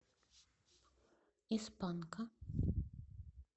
из панка